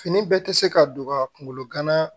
Fini bɛɛ tɛ se ka don wa kunkolo gana